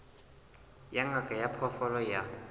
ya ngaka ya diphoofolo ya